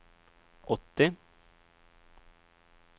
åttio